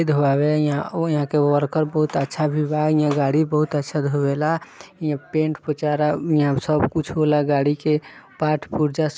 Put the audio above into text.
ई धोबाबे है यहाँ और यहाँ के वर्कर बहुत अच्छा भी बा हिया गाड़ी बहुत अच्छा धोबेला हिया पेंट पोचारा यहाँ सबकुछ होला गाड़ी के पार्ट पुर्जा सब ।